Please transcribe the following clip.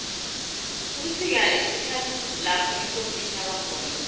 ubusika sikhathi lapho ikosi ithaba khona